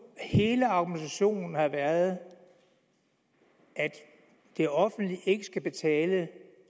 hele argumentationen har været at det offentlige ikke skal betale